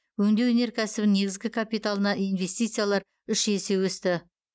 өңдеу өнеркәсібінің негізгі капиталына инвестициялар үш есе өсті